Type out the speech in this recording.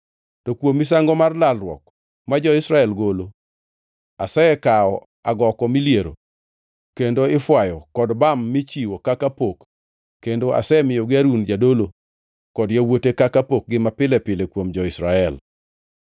To kuom misango mar lalruok ma jo-Israel golo, asekawo agoko miliero kendo ifwayo kod bam michiwo kaka pok kendo asemiyogi Harun jadolo kod yawuote kaka pokgi mapile pile kuom jo-Israel.’ ”